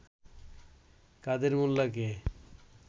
কাদের মোল্লাকে